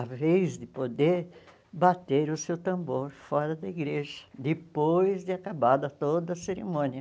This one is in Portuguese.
a vez de poder bater o seu tambor fora da igreja, depois de acabada toda a cerimônia.